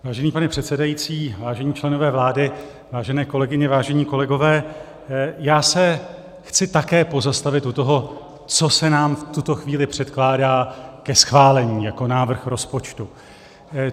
Vážený pane předsedající, vážení členové vlády, vážené kolegyně, vážení kolegové, já se chci také pozastavit u toho, co se nám v tuto chvíli předkládá ke schválení jako návrh rozpočtu.